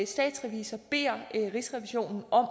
statsrevisor beder rigsrevisionen om